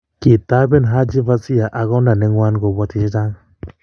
kitoben Haji Fasiya ak kongda ne ngwan kobwoti che che chang